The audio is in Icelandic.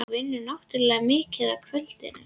Þú vinnur náttúrlega mikið á kvöldin.